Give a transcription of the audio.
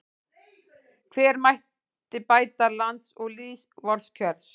Hve mætti bæta lands og lýðs vors kjör